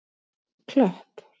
Klöpp